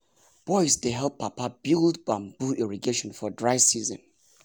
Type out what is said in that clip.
boys dey help papa build bamboo irrigation for dry season.